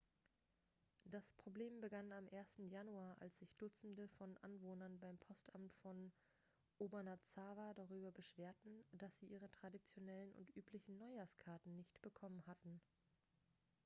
das problem begann am 1. januar als sich dutzende von anwohnern beim postamt von obanazawa darüber beschwerten dass sie ihre traditionellen und üblichen neuhjahrskarten nicht bekommen hatten